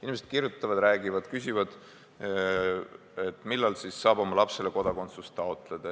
Inimesed kirjutavad, räägivad, küsivad, millal saab oma lapsele kodakondsust taotleda.